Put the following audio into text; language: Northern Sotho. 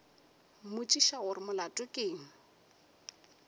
mmotšiša gore molato ke eng